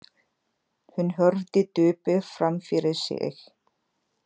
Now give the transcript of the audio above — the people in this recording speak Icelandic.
Hún horfði döpur fram fyrir sig.